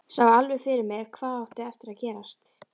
Sá alveg fyrir mér hvað átti eftir að gerast.